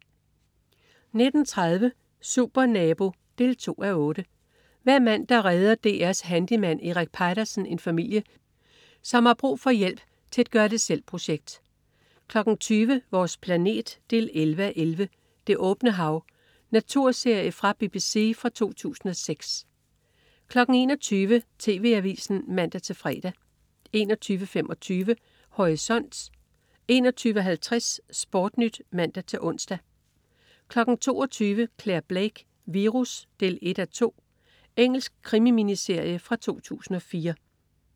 19.30 Supernabo 2:8. Hver mandag redder DR's handyman Erik Peitersen en familie, som har brug for hjælp til et gør det selv-projekt 20.00 Vores planet 11:11. "Det åbne hav". Naturserie fra BBC fra 2006 21.00 TV Avisen (man-fre) 21.25 Horisont 21.50 SportNyt (man-ons) 22.00 Clare Blake: Virus 1:2. Engelsk krimi-miniserie fra 2004